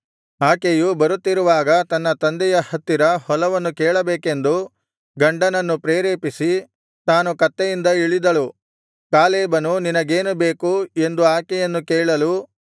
ಆಕೆಯು ಬರುತ್ತಿರುವಾಗ ತನ್ನ ತಂದೆಯ ಹತ್ತಿರ ಹೊಲವನ್ನು ಕೇಳಬೇಕೆಂದು ಗಂಡನನ್ನು ಪ್ರೇರೇಪಿಸಿ ತಾನು ಕತ್ತೆಯಿಂದ ಇಳಿದಳು ಕಾಲೇಬನು ನಿನಗೇನು ಬೇಕು ಎಂದು ಆಕೆಯನ್ನು ಕೇಳಲು